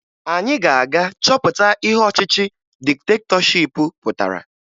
Anyị ga-aga chọpụta ihe ọchịchị diktetọship pụtara